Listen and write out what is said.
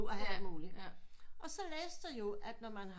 Og så læste jeg jo at når man har